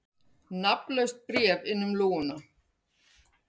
Nafnlaust bréf inn um lúguna